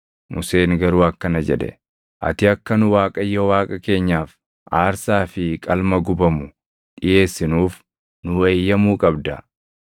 Museen garuu akkana jedhe; “Ati akka nu Waaqayyo Waaqa keenyaaf aarsaa fi qalma gubamu dhiʼeessinuuf nuu eeyyamuu qabda.